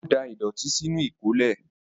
Ó da ìdọ̀tí sínú ìkólẹ̀.